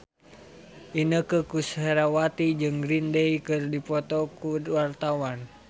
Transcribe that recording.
Inneke Koesherawati jeung Green Day keur dipoto ku wartawan